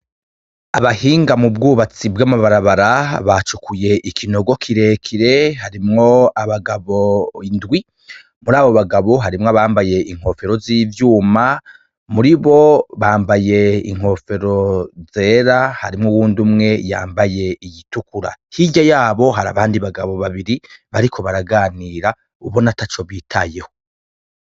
Abahinga mubwubatsi bwamabarabara bwacukuye ikinogo kirekire harimwo abagabo indwi murabo bagabo harimwo ambaye inkofero zivyuma muribo bambaye inkofero zera harimwo uyundi yambaye iyitukura hirya yabo hari abandi bagabo babiri bariko baraganira ubona ataco bitayeho.